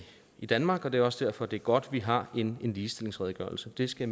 i danmark og det er også derfor det er godt at vi har en ligestillingsredegørelse det skal